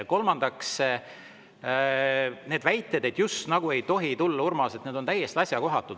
Kolmandaks, need väited, et justnagu ei tohi tulla, Urmas, on täiesti asjakohatud.